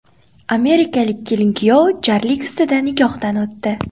Amerikalik kelin-kuyov jarlik ustida nikohdan o‘tdi .